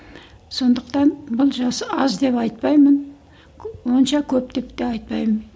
сондықтан бұл жас аз деп айтпаймын онша көп деп те айтпаймын